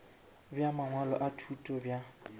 bja mangwalo a thuto bja